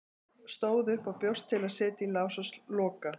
Stóð upp og bjóst til að setja í lás og loka.